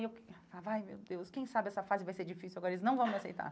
E eu falava, ai, meu Deus, quem sabe essa fase vai ser difícil agora, eles não vão me aceitar.